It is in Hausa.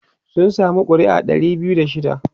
sun samu ƙuri'a Dari biyu da shida